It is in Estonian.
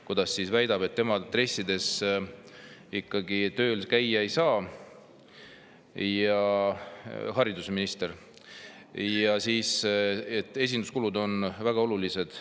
Haridusminister on väitnud, et tema dressides ikkagi tööl käia ei saa ja esinduskulud on väga olulised.